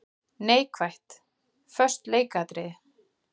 Neikvætt:- Föst leikatriði.